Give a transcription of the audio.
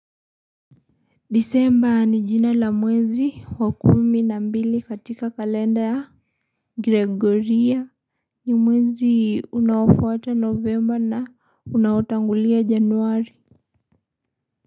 Desemba ni jina la mwezi wa kumi na mbili katika kalenda ya gregori ni mwezi unaofuata novemba na unaotangulia januari.